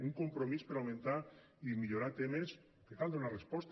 un compromís per augmentar i millorar temes als quals cal donar resposta